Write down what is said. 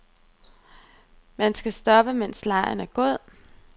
Man skal stoppe, mens legen er god.